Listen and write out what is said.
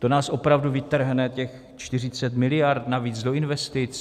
To nás opravdu vytrhne těch 40 miliard navíc do investic?